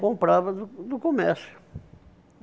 Comprava do do comércio.